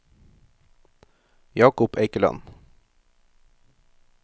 Jacob Eikeland